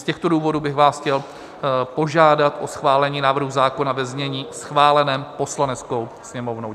Z těchto důvodů bych vás chtěl požádat o schválení návrhu zákona ve znění schváleném Poslaneckou sněmovnou.